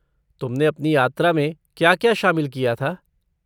तुमने अपनी यात्रा में क्या क्या शामिल किया था?